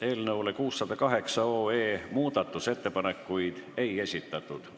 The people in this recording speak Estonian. Eelnõu 608 muutmiseks ettepanekuid ei esitatud.